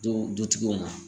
Du dutigiw ma